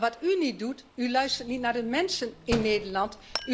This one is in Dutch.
Maar wat u niet doet u luistert niet naar de mensen in Nederland.